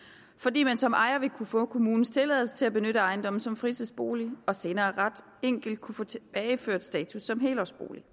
fordi man som ejer vil kunne få kommunens tilladelse til at benytte ejendommen som fritidsbolig og senere ret enkelt kunne få tilbageført status som helårsbolig